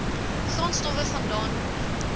grondstowwe vandaan kom